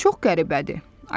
Çox qəribədir.